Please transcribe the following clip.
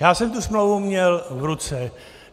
Já jsem tu smlouvu měl v ruce.